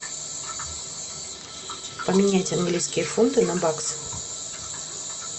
поменять английские фунты на баксы